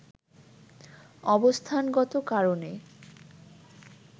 অবস্থানগত কারণে